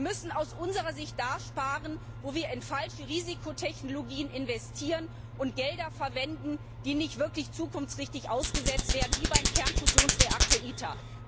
Wir müssen aus unserer Sicht dort sparen, wo wir in falsche Risikotechnologien investieren und Gelder verwenden, die nicht wirklich zukunftsträchtig eingesetzt werden, wie beim Kernfusionsreaktor ITER.